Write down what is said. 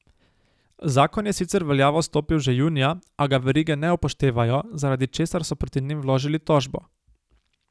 Zakon je sicer v veljavo stopil že junija, a ga verige ne upoštevajo, zaradi česar so proti njim vložili tožbo.